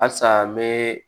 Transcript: Halisa n bɛ